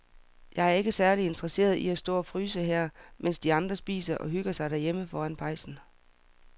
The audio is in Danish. Jeg er ikke særlig interesseret i at stå og fryse her, mens de andre sidder og hygger sig derhjemme foran pejsen.